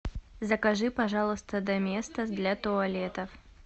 закажи пожалуйста доместос для туалетов